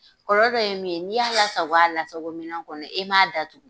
Kɔlɔlɔ dɔ ye min ye, n'i y'a lasago a lasago minan kɔnɔ i m'a datugu